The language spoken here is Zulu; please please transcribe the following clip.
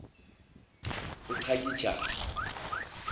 uchakijane